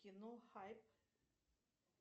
кино хайп